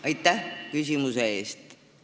Aitäh küsimuse eest!